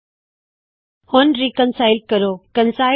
ਚਲੋ ਫੇਰ ਰੀਕਮਪਾਇਲ ਕਰਦੇ ਹਾ